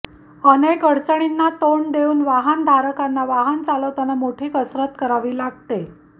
अनेक अडचणींना तोंड देवून वाहन धारकांना वाहन चालवताना मोठी कसरत करावी लागते